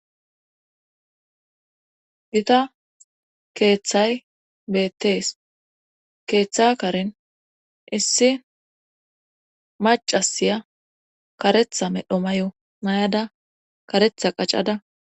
gita keeththay beettees keeththa karen issi macasiya karetha medho mayo mayada karetha qacada